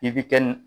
I bi kɛ